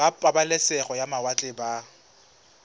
ba pabalesego ya mawatle ba